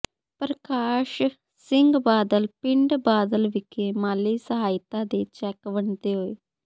ਪ੍ਰਕਾਸ਼ ਸਿੰਘ ਬਾਦਲ ਪਿੰਡ ਬਾਦਲ ਵਿਖੇ ਮਾਲੀ ਸਹਾਇਤਾ ਦੇ ਚੈਕ ਵੰਡਦੇ ਹੋਏ